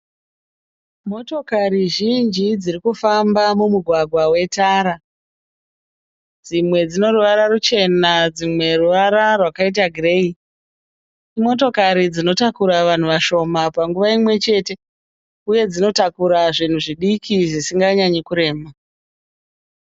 Motokari zhinji dziri kufamba mumugwagwa wetara. Dzimwe dzine ruvara ruchena dzimwe ruvara rwakaita gireyi. Imotokari dzinotakura vanhu vashima panguva imwe chete uye dzinotakura zvinhu zvisinga nyanyi kurema.